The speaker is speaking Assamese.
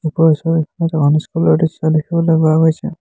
ওপৰৰ ছবিখনত এখন স্কুল ৰ দৃশ্য দেখিবলৈ পোৱা গৈছে।